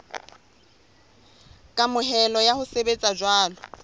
kamohelo ya ho sebetsa jwalo